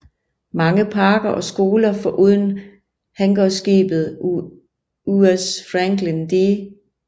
Mange parker og skoler foruden hangarskibet USS Franklin D